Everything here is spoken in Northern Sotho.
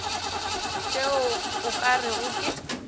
tšeo o ka rego ke